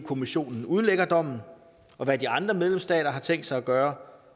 kommissionen udlægger dommen og hvad de andre medlemsstater har tænkt sig at gøre